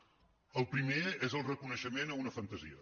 el primer és el reconeixement d’una fantasia